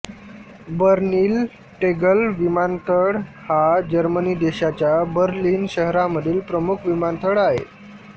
Berlin Tegel विमानतळ हा Germany देशाच्या बर्लिन शहरामधील प्रमुख विमानतळ आहे